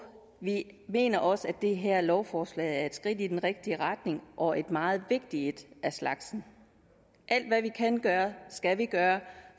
vi mener også at det her lovforslag er et skridt i den rigtige retning og et meget vigtigt et af slagsen alt hvad vi kan gøre skal vi gøre